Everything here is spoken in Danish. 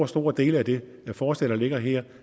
store dele af det forslag der ligger her